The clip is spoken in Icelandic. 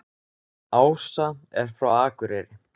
Ása er frá Akureyri.